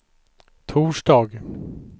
torsdag